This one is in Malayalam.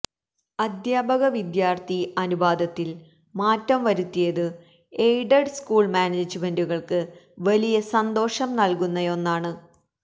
അധ്യാപക വിദ്യാര്ഥി അനുപാതത്തില് മാറ്റം വരുത്തിയത് എയ്ഡഡ് സകൂള് മാനേജുമെന്റുകള്ക്ക് വലിയ സന്തോഷം നല്കുന്നയൊന്നാണ്